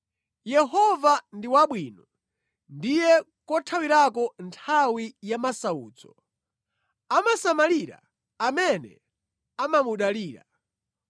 Yehova ndi wabwino, ndiye kothawirako nthawi ya masautso. Amasamalira amene amamudalira,